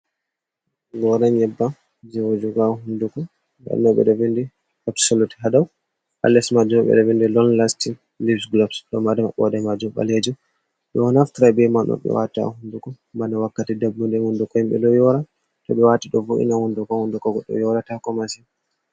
Gora nyebba jee wujuga haa hunduko nda ɗun ɗo ɓeɗ vindi absolut haa dau, haa les majum ɓeɗo vindi lon lasti lips gulobs, ɗo mari mabbode majum ɓaleji, ɓe ɗo naftri ba man ɓe wata haa hunduko bana wakkati dabbunde hunduko himɓe ɗo yora, to ɓe wati ɗo vo’ina hunduko, hunduko goɗɗo yora tako masin.